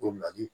Ko nali